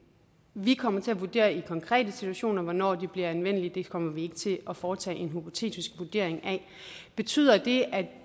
vi kommer til at vurdere i konkrete situationer hvornår de bliver anvendelige det kommer vi ikke til at foretage en hypotetisk vurdering af betyder det at